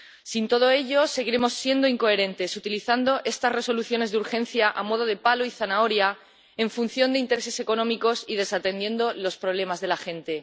Sin todo ello, seguiremos siendo incoherentes, utilizando estas Resoluciones de urgencia a modo de palo y zanahoria en función de intereses económicos y desatendiendo los problemas de la gente.